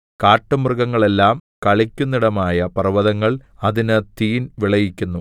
കാട്ടുമൃഗങ്ങളെല്ലാം കളിക്കുന്നിടമായ പർവ്വതങ്ങൾ അതിന് തീൻ വിളയിക്കുന്നു